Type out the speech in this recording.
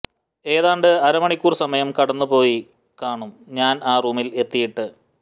ഏതാണ്ട് അര മണിക്കൂർ സമയം കടന്നു പോയി കാണും ഞാൻ ആ റൂമിൽ എത്തിയിട്ട്